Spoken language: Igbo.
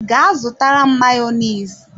Ga zutara m Mayonezi!